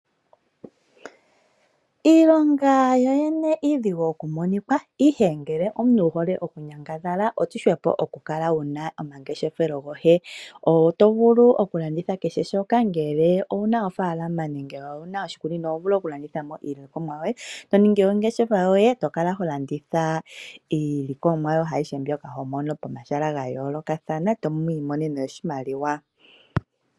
Iilonga yoyene iidhigu okumonikwa, ihe ngele omuntu wu hole okunyangadhala oshihwepo okukala wuna omangeshefelo goye. Oto vulu okulanditha kehe shoka ngele owuna ofaalama nenge owuna oshikunino oho vulu okulanditha mo iilikolomwa yoye to ningi ongeshefa yoye, to kala ho landitha iilikolomwa yoye ayihe mbyoka ho mono pomahala ga yoolokathana, tamwiimonene oshimaliwa.